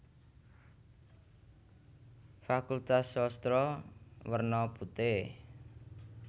Fakultas Sastra werna putih